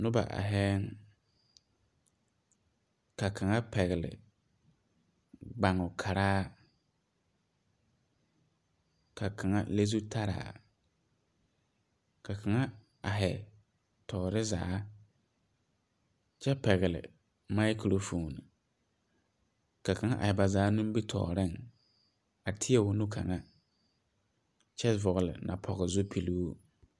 Noba aihiɛɛŋ ka kaŋa pɛgle gbanghu karaa ka kaŋa le zutaraa ka kaŋa aihi toore zaa kyɛ pɛgle maakurofoon ka kaŋa aihi bazaa nimitooreŋ a tēɛ o nu kaŋa kyɛ vɔgle napoge zupiluu.